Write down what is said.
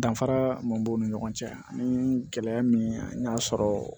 Danfara mun b'u ni ɲɔgɔn cɛ ani gɛlɛya min y'a sɔrɔ